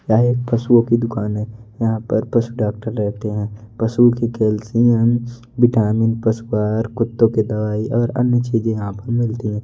यहां एक पशुओं की दुकान है यहां पर पशु डॉक्टर रहते हैं पशुओं की कैल्शियम विटामिन पशुआहार कुत्तों की दवाई और अन्य चीजे यहां पर मिलती है।